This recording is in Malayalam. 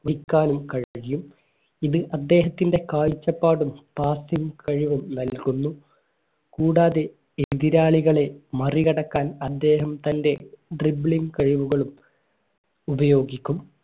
വഹിക്കാനും കഴിയും ഇത് അദ്ദേഹത്തിൻറെ കാഴ്ചപ്പാടും കഴിവും നൽകുന്നു കൂടാതെ എതിരാളികളെ മറികടക്കാൻ അദ്ദേഹം തന്റെ ഡ്രിബ്ലിംഗ് കഴിവുകളും ഉപയോഗിക്കും